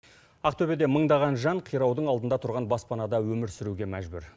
ақтөбеде мыңдаған жан қираудың алдында тұрған баспанада өмір сүруге мәжбүр